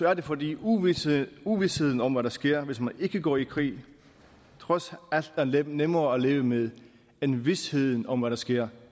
er det fordi uvisheden uvisheden om hvad der sker hvis man går i krig trods alt er nemmere at leve med end visheden om hvad der sker